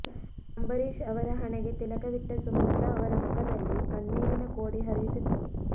ಅಂಬರೀಶ್ ಅವರ ಹಣೆಗೆ ತಿಲಕವಿಟ್ಟ ಸುಮಲತಾ ಅವರ ಮುಖದಲ್ಲಿ ಕಣ್ಣೀರಿನ ಕೋಡಿ ಹರಿಯುತ್ತಿತ್ತು